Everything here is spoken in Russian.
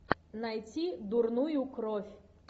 найти дурную кровь